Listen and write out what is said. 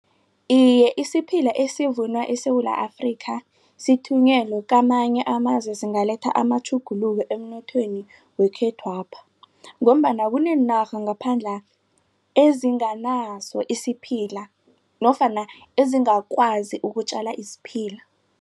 Iye, isiphila esivunwa eSewula Afrika sithunyelwe kamanye amazwe singaletha amatjhuguluko emnothweni wekhethwapha. Ngombana kuneenarha ngaphandla ezinganaso isiphila nofana ezingakwazi ukutjala isiphila.